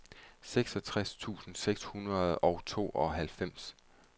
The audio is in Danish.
seksogtres tusind seks hundrede og treoghalvfems